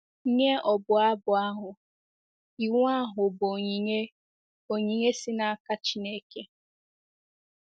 Nye ọbụ abụ ahụ, iwu ahụ bụ onyinye onyinye si n’aka Chineke.